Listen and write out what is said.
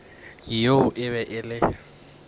yeo e be e le